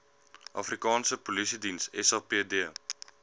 afrikaanse polisiediens sapd